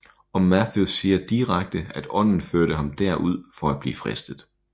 Og Matthæus siger direkte at Ånden førte ham der ud for at blive fristet